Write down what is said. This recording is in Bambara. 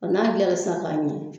Nga n'a dilan na sisan ka ɲɛ